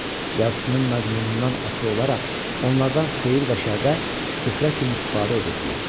Yazısının məzmunundan asılı olaraq onlardan xeyir və şərdə süfrə kimi istifadə edirdilər.